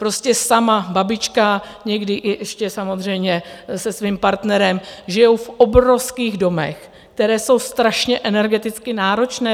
Prostě sama babička, někdy ještě samozřejmě se svým partnerem, žijí v obrovských domech, které jsou strašně energeticky náročné.